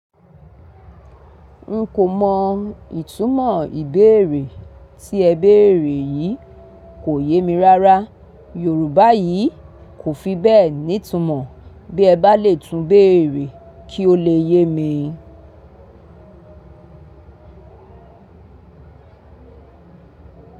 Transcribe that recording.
N kò mọ ìtumọ̀ ìbéèrè tí ẹ béèrè yìí. Kò yé mi rárá. Yorùbá yìí kò fi bẹ́ẹ̀ ní itumọ̀. Bí ẹ bá le túń béèrè kí ó le yé mi.